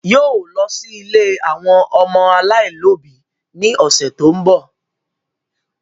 Yóò lọ sí ilé àwọn ọmọ aláìlóbi ní ọ̀sẹ̀ tó ń bọ̀